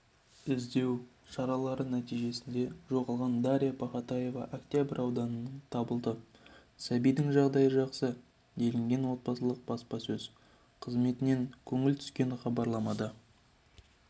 іздеу шаралары нәтижесінде жоғалған дарья пахатаева октябрь ауданынан табылды сәбидің жағдайы жақсы делінген облыстық баспасөз қызметінен келіп түскен хабарламада